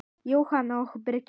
Jóhanna og Birgir.